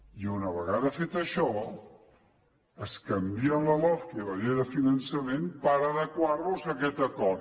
i una vegada fet això es canvien la lofca i la llei de finançament per adequar los a aquest acord